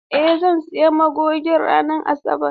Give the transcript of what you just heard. Eh zan sayi magogi ranar Asabar.